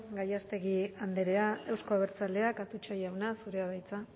gallástegui andrea euzko abertzaleak atutxa jauna zurea da hitza